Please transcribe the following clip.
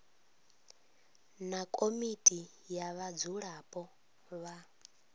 na komiti ya vhadzulapo vha